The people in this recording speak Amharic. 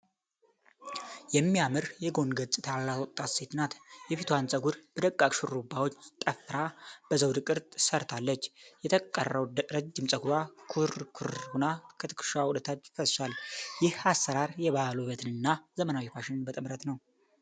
የሚያምር የጎን ገጽታ ያላት ወጣት ሴት ናት። የፊቷን ፀጉር በደቃቅ ሹሩባዎች ጠፍራ በዘውድ ቅርጽ ሰርታለች። የተቀረው ረጅም ፀጉሯ ኩርኩር ሆኖ ከትከሻዋ ወደታች ፈሷል። ይህ አሠራር የባህል ውበትንና ዘመናዊ ፋሽንን በጥምረት ነው።